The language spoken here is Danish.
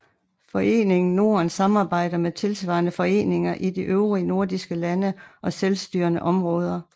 Foreningen Norden samarbejder med tilsvarende foreninger i de øvrige nordiske lande og selvstyrende områder